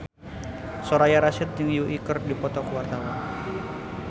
Soraya Rasyid jeung Yui keur dipoto ku wartawan